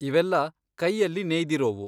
ಇವೆಲ್ಲಾ ಕೈಯಲ್ಲಿ ನೇಯ್ದಿರೋವು.